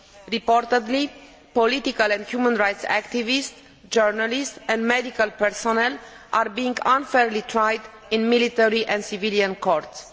It is reported that political and human rights activists, journalists and medical personnel are being unfairly tried in military and civilian courts.